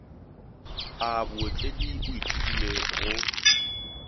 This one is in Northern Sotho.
a bootledi o ithutile go